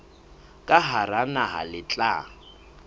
ka hara naha le tla